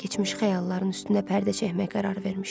Keçmiş xəyalların üstünə pərdə çəkmək qərarı vermişdi.